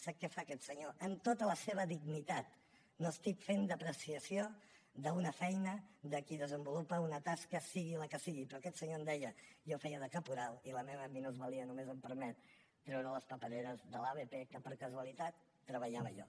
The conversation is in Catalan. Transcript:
sap què fa aquest senyor amb tota la seva dignitat no estic fent depreciació d’una feina de qui desenvolupa una tasca sigui la que sigui però aquest senyor em deia jo feia de caporal i la meva minusvalidesa només em permet treure les papereres de l’abp en què per causalitat treballava jo